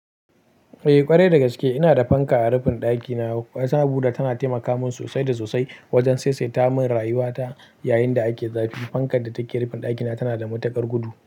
Eh, ƙwarai da gaske. Ina da fanka a rufin ɗakina, wasu abu da tana taimaka min sosai da sosai wajen saisaita min rayuwata yayin da ake zafi. Fankan da take rufin ɗakina tana da matuƙar gudu.